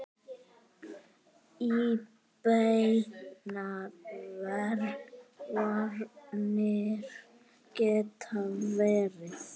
Óbeinar varnir geta verið